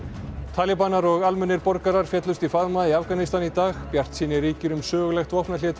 talíbanar og almennir borgarar féllust í faðma í Afganistan í dag bjartsýni ríkir um sögulegt vopnahlé